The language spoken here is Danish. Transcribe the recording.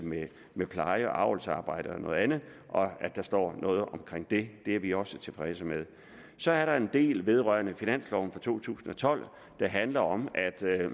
med pleje og avlsarbejde og andet at der står noget om det er vi også tilfredse med så er der en del vedrørende finansloven for to tusind og tolv der handler om at der er